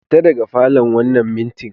Fita daga falon wannan mintin!